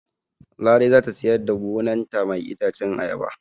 Larai zata siyar da gonan ta mai itacen ayaba